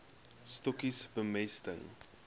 stokkies bemesting